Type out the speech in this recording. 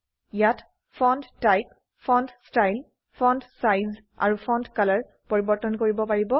ইয়াত font type font style font size আৰু font কলৰ পৰিবৰ্তন কৰিব পাৰে